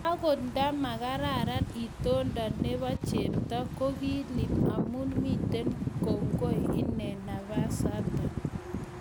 Okot nta makararan itintonde nebo chepto ko kikiib amu miten kokoi inen nafasta.